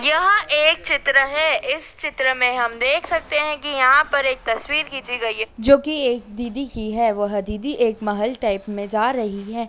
यह एक चित्र है। इस चित्र में हम देख सकते हैं कि यहाँ पर एक तस्वीर खींची गई है जो की एक दीदी की है। वह दीदी एक महल टाइप में जा रही है।